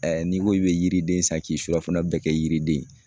n'i ko k'i bɛ yiriden san k'i surafana bɛɛ kɛ yiriden ye